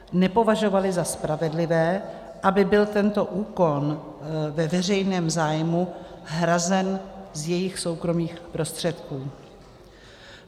Nepovažovali za spravedlivé, aby byl tento úkon ve veřejném zájmu hrazen z jejich soukromých prostředků.